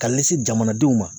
Ka ɲɛsin jamanadenw ma